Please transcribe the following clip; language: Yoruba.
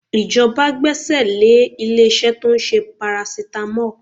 Ìjọba gbẹ́sẹ̀ lé ilé-iṣẹ́ tó ń ṣe paracetamol